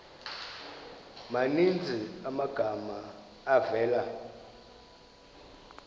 maninzi amagama avela